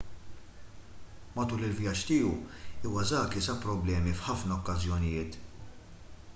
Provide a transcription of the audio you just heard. matul il-vjaġġ tiegħu iwasaki sab problemi f'ħafna okkażjonijiet